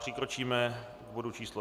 Přikročíme k bodu číslo